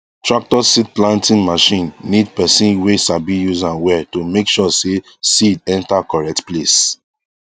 tractor seed planting machine need person wey sabi use am well to make sure say seed enter correct place